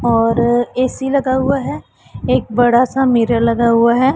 और ए_सी लगा हुआ है एक बड़ा सा मिरर लगा हुआ है।